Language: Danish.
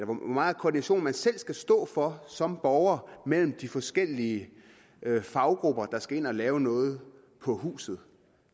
meget koordination man selv skal stå for som borger mellem de forskellige faggrupper der skal ind at lave noget på huset